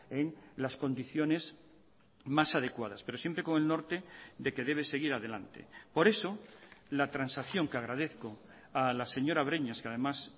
en las condiciones más adecuadas pero siempre con el norte de que debe seguir adelante por eso la transacción que agradezco a la señora breñas que además